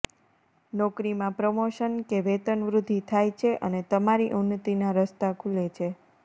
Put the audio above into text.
નોકરીમાં પ્રમોશન કે વેતનવૃદ્ધિ થાય છે અને તમારી ઉન્નતિના રસ્તા ખુલે છે